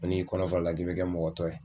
Ko n'i y'i kɔnɔ fa o la k'i bɛ kɛ mɔgɔ tɔ ye.